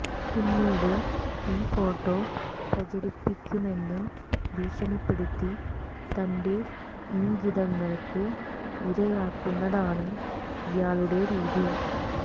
പിന്നീട് ഈ ഫോട്ടോ പ്രചരിപ്പിക്കുമെന്ന് ഭീഷണിപ്പെടുത്തി തന്റെ ഇംഗിതങ്ങള്ക്ക് ഇരയാക്കുന്നതാണ് ഇയാളുടെ രീതി